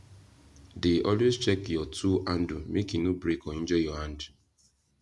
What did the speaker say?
dey always check your tool handle make e no break or injure your hand